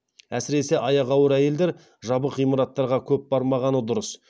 әсіресе аяғы ауыр әйелдер жабық ғимараттарға көп бармағаны дұрыс